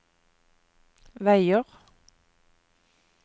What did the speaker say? veier